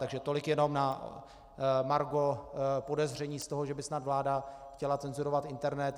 Takže tolik jenom na margo podezření z toho, že by snad vláda chtěla cenzurovat internet.